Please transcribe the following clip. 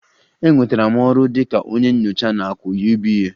Enwetara m ọrụ dị ka onye nyocha na AKỤ UBA